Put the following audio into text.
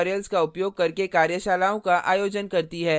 spoken tutorials का उपयोग करके कार्यशालाओं का आयोजन करती है